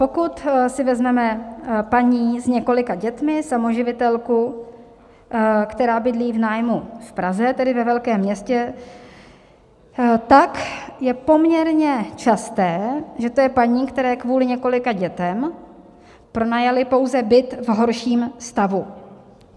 Pokud si vezmeme paní s několika dětmi, samoživitelku, která bydlí v nájmu v Praze, tedy ve velkém městě, tak je poměrně časté, že to je paní, které kvůli několika dětem pronajali pouze byt v horším stavu.